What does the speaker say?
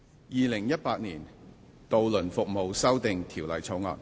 《2018年渡輪服務條例草案》。